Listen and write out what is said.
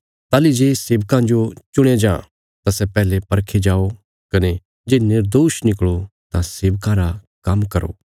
ताहली जे सेवकां जो चुणया जां तां सै पैहले परखे जाओ कने जे निर्दोष निकल़ो तां सेवका रा काम्म करो